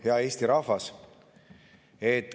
Hea Eesti rahvas!